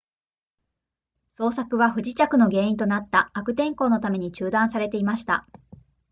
捜索は不時着の原因となった悪天候のために中断されていました